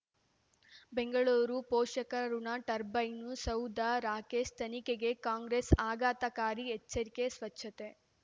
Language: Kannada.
ಬೆಂಗಳೂರು ಪೋಷಕರಋಣ ಟರ್ಬೈನು ಸೌಧ ರಾಕೇಶ್ ತನಿಖೆಗೆ ಕಾಂಗ್ರೆಸ್ ಆಘಾತಕಾರಿ ಎಚ್ಚರಿಕೆ ಸ್ವಚ್ಛತೆ